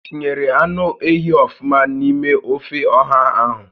I tinyere anụ ehi ọfụma n'ime ófé ọ̀hà ahụ?